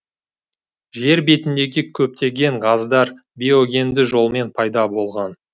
жер бетіндегі көптеген газдар биогенді жолмен пайда болған